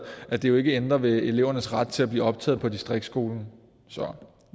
at det jo ikke ændrer ved elevernes ret til at blive optaget på distriktsskolen så